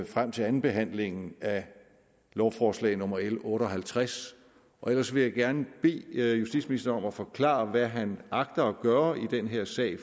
frem til andenbehandlingen af lovforslag nummer l otte og halvtreds ellers vil jeg gerne bede justitsministeren om at forklare hvad han agter at gøre i den her sag